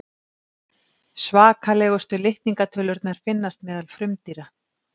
svakalegustu litningatölurnar finnast meðal frumdýra